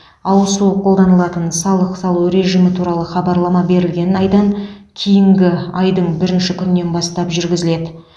ауысу қолданылатын салық салу режимі туралы хабарлама берілген айдан кейінгі айдың бірінші күнінен бастап жүргізіледі